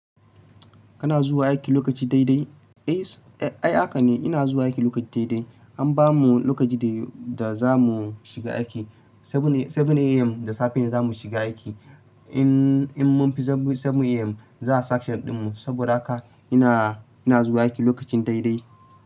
Kana zuwa aiki lokaci daidai? Eh, ai haka ne. Ina zuwa aiki lokaci daidai. An bamu lokaci da, da zamu shiga aiki. Seven AM da safe ne zamu shiga aiki. In, in mun fi seven AM, zaa sanction ɗin mu. Saboda haka ina, ina zuwa aiki lokacin daidai.